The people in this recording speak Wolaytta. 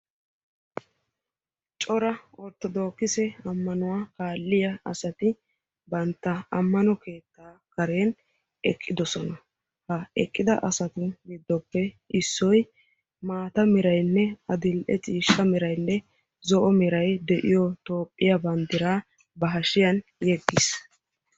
Cora ortodookise ammanuwa kaalliya asati bantta ammano keettaa karen eqqidosona. Ha eqqida asatu giddoppe issoy maata merayinne adil'e ciishsha meraynne zo'o meray de'iyo toophphiya bandiraa ba hashiyan yeggis.